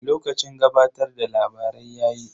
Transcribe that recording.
Lokacin gabatar da labarai yayi.